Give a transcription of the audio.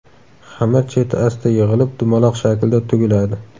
Xamir cheti asta yig‘ilib, dumaloq shaklda tugiladi.